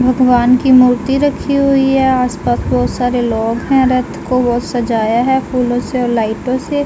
भगवान की मूर्ति रखी हुए आस-पास बहुत सारे लोग हैं रथ को बहुत सजाया है फूलों से और लाइटों से।